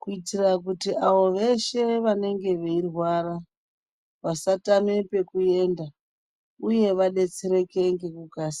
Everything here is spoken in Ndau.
kuitira kuti avo veshe vanenge veirwara vasatame pekuenda uye vadetsereke ngekukasira.